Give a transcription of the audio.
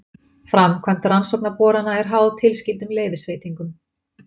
Framkvæmd rannsóknarborana er háð tilskyldum leyfisveitingum